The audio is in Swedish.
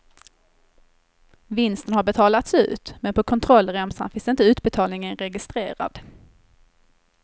Vinsten har betalats ut, men på kontrollremsan finns inte utbetalningen registrerad.